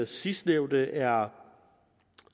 sidstnævnte er